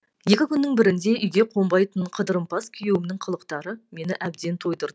екі күннің бірінде үйге қонбайтын қыдырымпаз күйеуімнің қылықтары мені әбден тойдырды